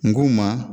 N ko ma